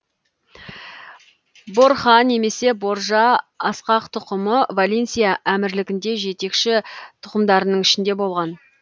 борха немесе боржа ақсақ тұқымы валенсия әмірлігінде жетекші тұқымдарының ішінде болған